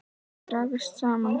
Dragast saman.